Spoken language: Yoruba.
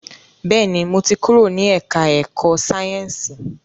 Bẹ́ẹ̀ni, mo ti kúrò ní ẹ̀ká ẹ̀kọ́ Sáyẹ̀nsì